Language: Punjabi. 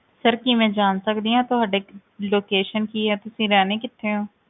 Sir ਕੀ ਮੈਂ ਜਾਣ ਸਕਦੀ ਹਾਂ ਤੁਹਾਡੇ location ਕੀ ਹੈ ਤੁਸੀਂ ਰਹਿੰਦੇ ਕਿੱਥੇ ਹੋ?